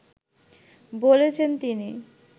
বলেছেন তিনি